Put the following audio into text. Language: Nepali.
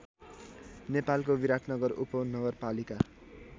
नेपालको विराटनगर उपहानगरपालिका